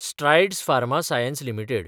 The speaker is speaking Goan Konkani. Strides Pharma Science limited